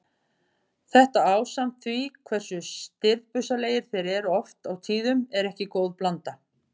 Þetta ásamt því hversu stirðbusalegir þeir eru oft á tíðum er ekki góð blanda.